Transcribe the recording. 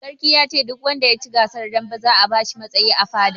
Sarki yace duk wanda yaci gasar dambe za a bashi matsayi a fada